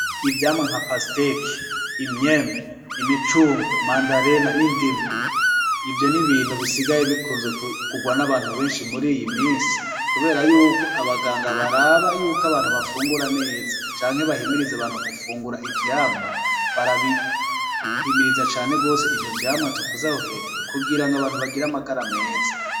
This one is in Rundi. Ivyamwa bitandukanye: nk'ipasiteke ,imicungwe, imandarini, indimu, n'ivyamwa bikunze kugurwa n'abantu benshi ,mur'ikigihe kuber'abaganga baraba ko abantu bafungura neza, bagahimiriza abantu gufungura ivyamwa kugirango bagir 'amagara meza.